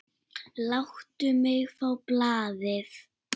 Láttu mig fá blaðið!